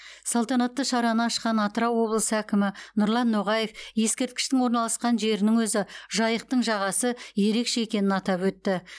салтанатты шараны ашқан атырау облысы әкімі нұрлан ноғаев ескерткіштің орналасқан жерінің өзі жайықтың жағасы ерекше екенін атап өтті